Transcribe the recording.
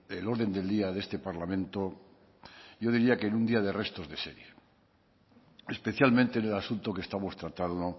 el orden del día de este parlamento yo diría que en un día de restos de serie especialmente en el asunto que estamos tratando